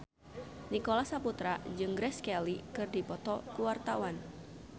Nicholas Saputra jeung Grace Kelly keur dipoto ku wartawan